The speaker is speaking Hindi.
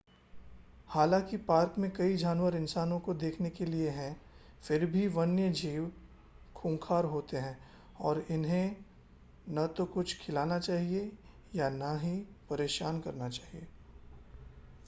हालांकि पार्क में कई जानवर इंसानों के देखने के लिए हैं फिर भी वन्यजीव खूंखार होते हैं और इन्हें न तो कुछ खिलाना चाहिए या न ही परेशान करना चाहिए